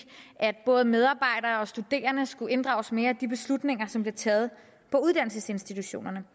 at både medarbejdere og studerende skulle inddrages mere i de beslutninger som bliver taget på uddannelsesinstitutionerne